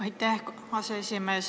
Aitäh, aseesimees!